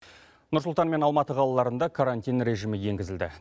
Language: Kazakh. нұр сұлтан мен алматы қалаларында карантин режимі енгізілді